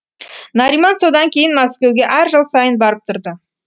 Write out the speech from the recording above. нариман содан кейін мәскеуге әр жыл сайын барып тұрды